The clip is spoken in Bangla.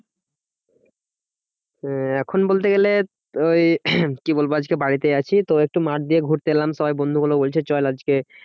আহ এখন বলতে গেলে ওই কি বলবা? আজকে বাড়িতে আছি তো, একটু মাঠ দিয়ে ঘুরতে এলাম সবাই বন্ধুগুলা বলছে চল আজকে